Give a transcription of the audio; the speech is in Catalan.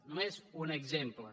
només un exemple